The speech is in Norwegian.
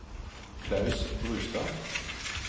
Klaus Brustad